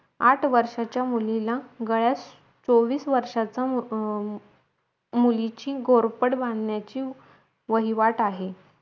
आठ वर्षाचा मुलीला गळ्यात चोवीश वर्षाचा मु मुलीची गोडपट बांधण्याची वहिवाट आहे